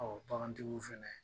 Ɔ bagantigiw fɛnɛ